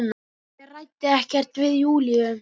Ég ræddi ekkert við Júlíu.